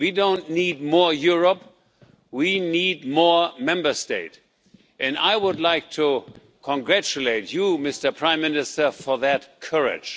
We don't need more Europe, we need more Member States and I would like to congratulate you, Mr Prime Minister, for that courage.